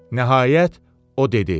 Nəhayət, o dedi: